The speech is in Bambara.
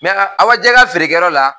Awajɛ ka feerekɛyɔrɔ la